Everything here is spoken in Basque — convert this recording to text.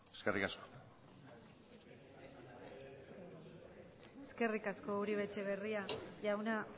eskerrik asko eskerrik asko uribe etxebarria jauna